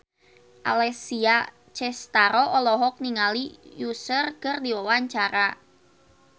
Alessia Cestaro olohok ningali Usher keur diwawancara